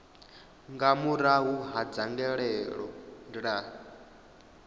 nga murahu ha dzangalelo ḽa